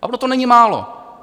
A ono to není málo.